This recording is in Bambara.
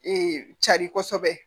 cari kosɛbɛ